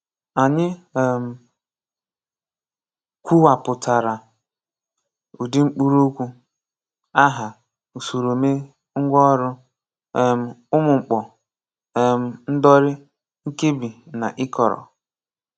Ànyị um kwùwàpùtárà ùdị̀ mkpụrụokwu: Áhá, Ùsòròomè, Ngwàọrụ, um Ùmụ́mkpọ́, um Ndọ́rì, Nkèbí, na Ị́kọrọ.